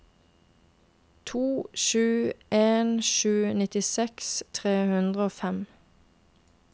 to sju en sju nittiseks tre hundre og fem